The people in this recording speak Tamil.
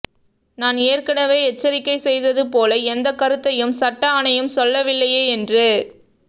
நான் ஏற்கனவே எச்சரிக்கை செய்தது போல எந்தக் கருத்தையும் சட்ட அணையம் சொல்லவில்லையே என்று